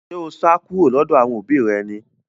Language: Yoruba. Ṣé o sá kúrò lọ́dọ̀ àwọn òbí rẹ ni